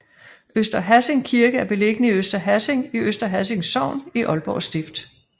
Øster Hassing Kirke er beliggende i Øster Hassing i Øster Hassing Sogn i Aalborg Stift